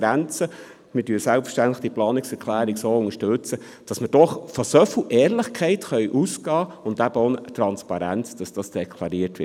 Selbstverständlich unterstützten wir die Planungserklärung, wobei wir eben von so viel Ehrlichkeit ausgehen können und von der Transparenz, dass deklariert wird.